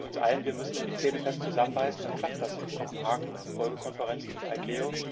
Wir bilden uns ein, wir müssten nur die Zähne fest zusammenbeißen, dann klappt das in Kopenhagen, Folgekonferenzen und ICAO.